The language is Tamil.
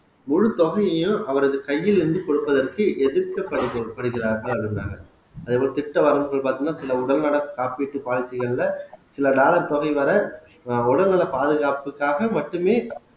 முழு தொகையையும் அவரது கையில் இருந்து கொடுப்பதற்கு எதிர்க்க படுகி படுகிறார்களா இருந்தாங்க அதே போல திட்ட வரவுகள் பாத்தீங்கன்னா சில உடல்நல காப்பீட்டு பாலிசிகள்ல சில டாலர் தொகை வர ஆஹ் உடல்நிலை பாதுகாப்புக்காக மட்டுமே